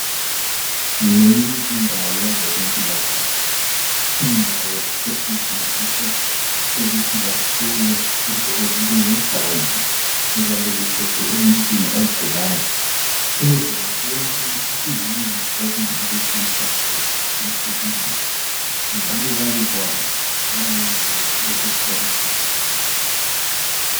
Ngeyinye indawo yabezempilakahle indawo esetshenziswa ukuthi bahlole into ezinjengegazi eliyabe lithethwe emuntwini ogulayo ukuze babone ukuthi kuyini okungabe kumhlasele kumhlukumeza njalo babekwazi langendlela yokuthi bamsize ngayo.